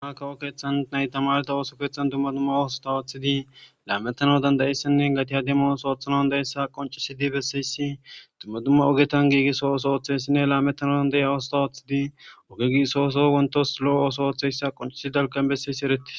dumakawo keeththan naytamareta ooso keeththan tumma dumma awosota waoththidi laametano Dandayessinne gati ademoos oothanan dayessa qoncisidi bessayssi tumma dumma ogetan giigisso ooso ooththeyssinne laametanadan de'iya wosota ooththidi oge giisso oso wontos lo'o ooso ooththeyssa qoncisidalkan besseysi eretis.